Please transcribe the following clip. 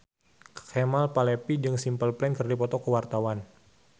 Kemal Palevi jeung Simple Plan keur dipoto ku wartawan